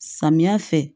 Samiya fɛ